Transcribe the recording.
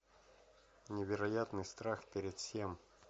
невероятный страх перед всем